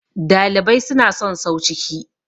dalibai suna son sau ciki